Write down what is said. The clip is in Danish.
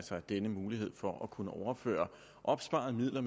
denne mulighed for at kunne overføre opsparede midler